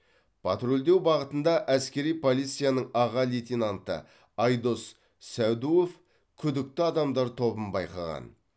патрульдеу бағытында әскери полицияның аға лейтенанты айдос сәдуов күдікті адамдар тобын байқаған